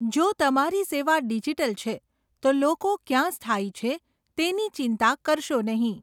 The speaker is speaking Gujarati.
જો તમારી સેવા ડિજિટલ છે, તો લોકો ક્યાં સ્થાયી છે તેની ચિંતા કરશો નહીં.